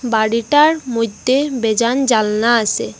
বাড়িটার মইধ্যে বেজান জানলা আসে।